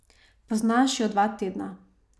Poznaš jo dva tedna.